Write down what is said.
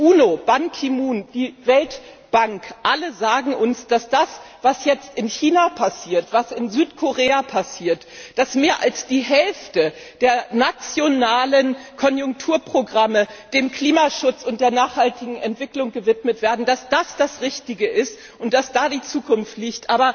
Die UNO, Ban Ki Moon, die Weltbank, alle sagen uns, dass das, was jetzt in China passiert, was in Südkorea passiert dass mehr als die Hälfte der nationalen Konjunkturprogramme dem Klimaschutz und der nachhaltigen Entwicklung gewidmet werden das Richtige ist und dass da die Zukunft liegt.